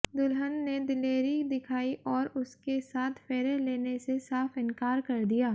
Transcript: दुल्हन ने दिलेरी दिखाई और उसके साथ फेरे लेने से साफ इंकार कर दिया